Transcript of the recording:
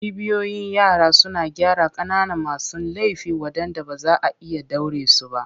Cibiyoyin yara suna gyara ƙananan masu laifi waɗanda ba za a iya ɗaure su ba.